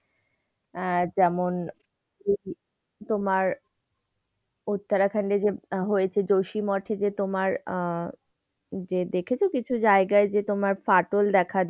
আহ যেমন তোমার উত্তরাখান্ডে যে হয়েছে জোশী মঠে যে তোমার আহ যে দেখেছ কিছু জায়গায় যে তোমার ফাটল দেখা দিয়েছে।